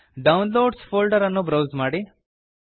downloads folder ಅನ್ನು browse ಮಾಡಿ